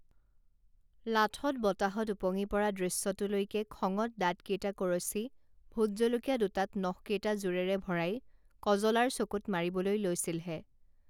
লাথত বতাহত ওপঙি পৰা দৃশ্যটোলৈকে খঙত দাঁত কেইটা কৰচি ভোট জলকীয়া দুটাত নখকেইটা জোৰেৰে ভৰাই কজলাৰ চকুত মাৰিবলৈ লৈছিলহে